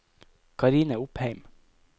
Karine Opheim